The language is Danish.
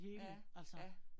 Ja, ja